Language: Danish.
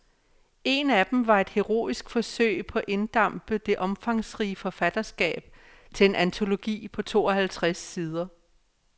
En af dem var et heroisk forsøg på at inddampe det omfangsrige forfatterskab til en antologi på to halvtreds sider.